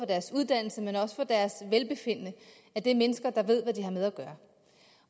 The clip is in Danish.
deres uddannelse og deres velbefindende er mennesker der ved hvad de har med at gøre